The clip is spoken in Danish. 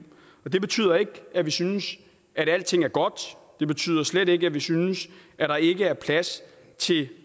det betyder ikke at vi synes at alting er godt og det betyder slet ikke at vi synes at der ikke er plads til